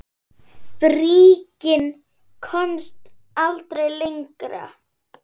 Bríkin komst aldrei lengra.